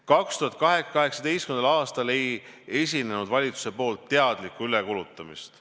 2018. aastal ei esinenud valitsuse poolt teadlikku ülekulutamist.